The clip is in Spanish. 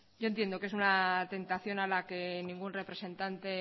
yo entiendo que es una tentación a la que ningún representante